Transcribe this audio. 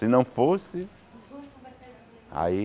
Se não fosse, aí...